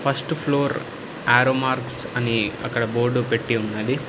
First floor arrow marks అని అక్కడ board పెట్టి ఉన్నది.